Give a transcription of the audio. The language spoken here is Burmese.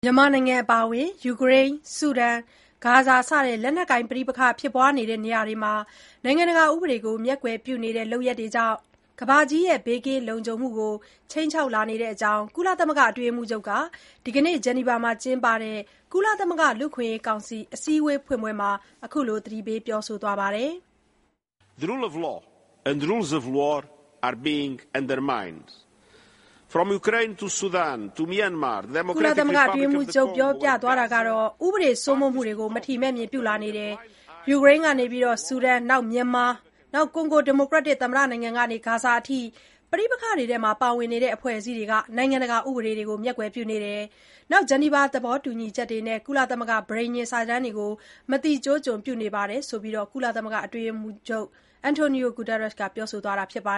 မြန်မာနိုင်ငံအပါအဝင် ယူကရိန်း၊ ဆူဒန်၊ ဂါဇာ စတဲ့ လက်နက်ကိုင် ပဋိပက္ခဖြစ်ပွားရာနေရာတွေမှာ နိုင်ငံတကာ ဥပဒေကို မျက်ကွယ်ပြုနေတဲ့ လုပ်ရပ်တွေကြောင့် ကမ္ဘာကြီးရဲ့ ဘေးကင်းလုံခြုံမှုကို ခြိမ်းခြောက်လာနေတဲအကြောင်း ကုလသမဂ္ဂအတွင်းရေးမှုးချုပ်က ဒီနေ့ ဂျနီဗာမှာ ကျင်းပတဲ့ ကုလသမဂ္ဂ လူ့အခွင့်ရေးကောင်စီ အစည်းအဝေးဖွင့်ပွဲမှာ သတိပေးပြောဆိုသွားပါတယ်။ ဥပဒေ စိုးမိုးမှုတွေကို မထီမဲ့မြင် ပြုလာနေကြပါတယ်။ ယူကရိန်းကနေ ဆူဒန် မြန်မာ၊ နောက် ကွန်ဂိုဒီမိုကရက်တစ် သမ္မတနိုင်ငံကနေ ဂါဇာအထိ ပဋိပက္ခတွေထဲမှာ ပါဝင်လာတဲ့ အဖွဲ့အစည်းတွေဟာ နိုင်ငံတကာ ဥပဒေတွေကို မျက်ကွယ်ပြုနေသလို ဂျနီဗာ သဘောတူညီချက်တွေနဲ့ ကုလသမဂ္ဂ ပဋိညာဉ်စာတမ်းတွေကိုလည်း မသိကျိုးကျွံပြုနေပါတယ်ဆိုပြီး ကုလသမဂ္ဂ အတွင်းရေးမှုးချုပ် Antonio Guterres က ပြောဆိုသွားတာပါ